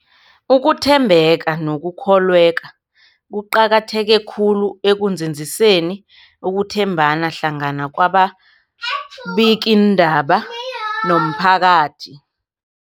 Ukuthembeka nokukholweka kuqakatheke khulu ekunzinziseni ukuthembana hlangana kwababikiindaba nomphakathi.